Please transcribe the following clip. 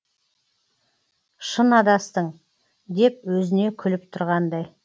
шын адастың деп өзіне күліп тұрғандай